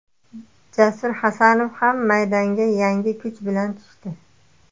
Jasur Hasanov ham maydonga yangi kuch bilan tushdi.